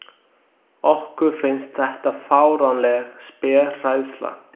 Okkur finnst þetta fáránleg spéhræðsla.